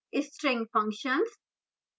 string functions